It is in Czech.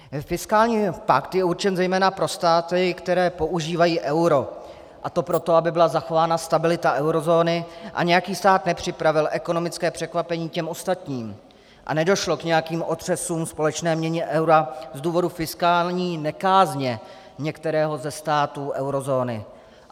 Fiskální pakt je určen zejména pro státy, které používají euro, a to proto, aby byla zachována stabilita eurozóny a nějaký stát nepřipravil ekonomické překvapení těm ostatním a nedošlo k nějakým otřesům společné měny eura z důvodu fiskální nekázně některého ze států eurozóny.